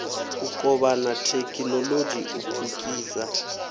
u kovhana thekhinolodzhi u pfukisa